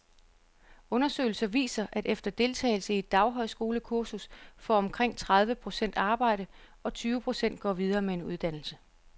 Undersøgelser viser, at efter deltagelse i et daghøjskolekursus får omkring tredive procent arbejde, og tyve procent går videre med en uddannelse.